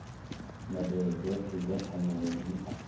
mbadelo dzothe dza phanele dzi